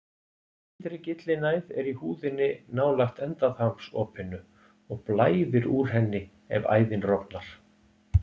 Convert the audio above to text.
Ytri gyllinæð er í húðinni nálægt endaþarmsopinu og blæðir úr henni ef æðin rofnar.